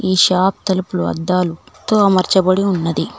ఈ షాప్ తలుపులు అద్దాలు తో అమర్చబడి ఉన్నది.